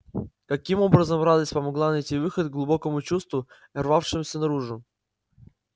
каким образом радость помогла найти выход глубокому чувству рвавшемуся наружу